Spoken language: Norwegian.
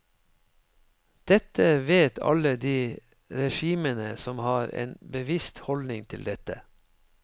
Dette vet alle de regimene som har en bevisst holdning til dette.